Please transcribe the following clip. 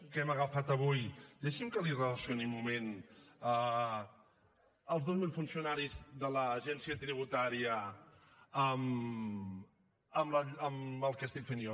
que hem agafat avui deixi’m que li relacioni un moment els dos mil funcionaris de l’agència tributària amb el que estic fent jo